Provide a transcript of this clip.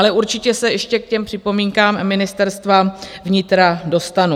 Ale určitě se ještě k těm připomínkám Ministerstva vnitra dostanu.